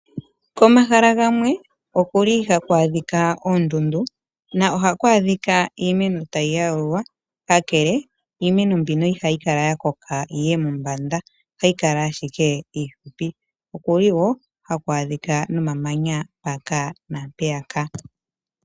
Komahala gamwe okuli haku adhika oondundu na ohaku adhika iimeno tayi yalulwa kakele iimeno mbino ihayi Kala ya koka yiye mombanda ohayi kala ashike iihupi . okuli woo haku adhika no mamanya mpaka naampeyaka.